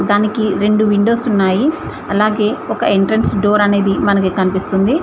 దానికి రెండు విండోస్ ఉన్నాయి అలాగే ఒక ఎంట్రెన్స్ డోర్ అనేది మనకి కన్పిస్తుంది.